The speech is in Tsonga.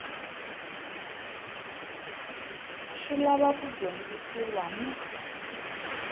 swi lava ku dyondzisiwa ni